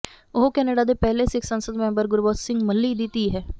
ਉਹ ਕੈਨੇਡਾ ਦੇ ਪਹਿਲੇ ਸਿੱਖ ਸੰਸਦ ਮੈਂਬਰ ਗੁਰਬਖ਼ਸ਼ ਸਿੰਘ ਮੱਲ੍ਹੀ ਦੀ ਧੀ ਹੈ